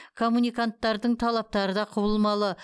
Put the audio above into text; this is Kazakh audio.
коммуниканттардың талаптары да құбылмалы